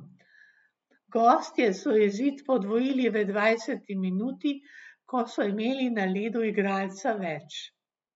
Gostje so izid podvojili v dvajseti minuti, ko so imeli na ledu igralca več.